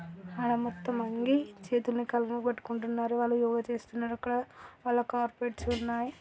ఆడ మొత్తం అంగి చేతులని కాళ్ళను పట్టుకుంటున్నారు. వాళ్ళు యోగ చేస్తున్నారు. అక్కడ వాళ్ళకి కార్పెట్ స్ ఉన్నాయి.